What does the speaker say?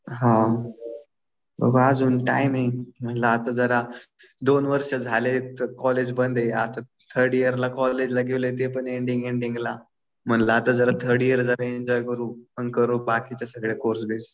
हा बघू अजून टाइम आहे. म्हणलं आता जरा दोन वर्ष झालेलेत कॉलेज बंद आहे. थर्ड ईयर ला कॉलेजमध्ये गेलो ते पण एंडिंग एंडिंगला. म्हणलं आता थर्ड ईयर जरा एन्जॉय करू. मग करू बाकीचे सगळे कोर्स बिर्स.